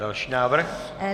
Další návrh?